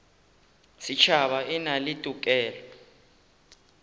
setšhaba e na le tokelo